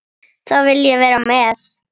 Þá vil ég vera með.